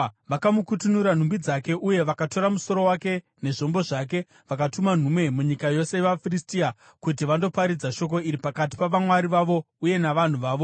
Vakamukutunura nhumbi dzake uye vakatora musoro wake nezvombo zvake vakatuma nhume munyika yose yavaFiristia kuti vandoparadzira shoko iri pakati pavamwari vavo uye navanhu vavo.